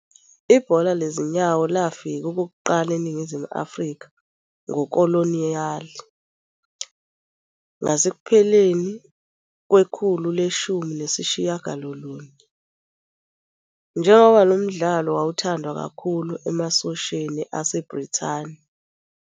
Ibhola lezinyawo lafika okokuqala eNingizimu Afrika ngokoloniyali ngasekupheleni kwekhulu leshumi nesishiyagalolunye, njengoba lo mdlalo wawuthandwa kakhulu emasosheni aseBrithani.